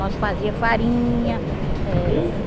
Nós fazia farinha eh.